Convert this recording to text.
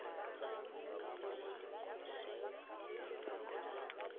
tsa mo polaseng dipheko tsa